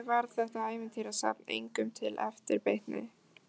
Því miður varð þetta ævintýrasafn engum til eftirbreytni.